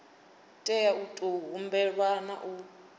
tea u tou humbelwa hu